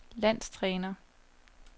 landstræner